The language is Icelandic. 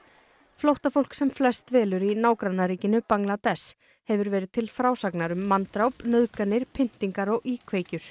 flóttafólk sem flest dvelur í nágrannaríkinu Bangladess hefur verið til frásagnar um manndráp nauðganir pyntingar og íkveikjur